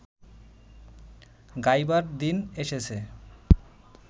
গাইবার দিন এসেছে